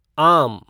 आम